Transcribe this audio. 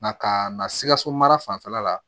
Na ka na sikaso mara fanfɛla la